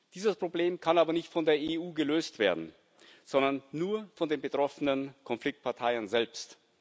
Dieses Problem kann aber nicht von der EU gelöst werden, sondern nur von den betroffenen Konfliktparteien selbst.